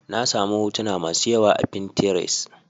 Na sami hotuna masu yawa a pinterest.